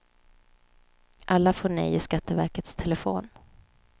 Alla får nej i skatteverkets telefon.